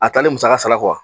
A taalen musaka sala